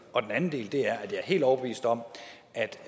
anden del er at jeg er helt overbevist om